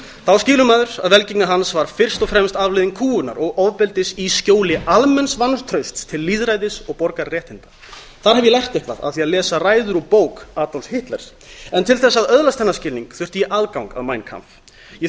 þá skilur maður að velgengni hans var fyrst og fremst afleiðing kúgunar og ofbeldis í skjóli almenns vantrausts til lýðræðis og borgararéttinda þar hef ég lært eitthvað af því að lesa ræður úr bók adolfs hitlers en til þess að öðlast þennan skilning þurfti ég aðgang að mein kampf ég þurfti